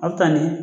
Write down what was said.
A bɛ taa ni